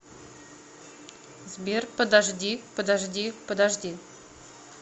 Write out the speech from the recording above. сбер подожди подожди подожди